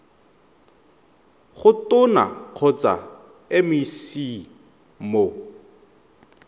go tona kgotsa mec mo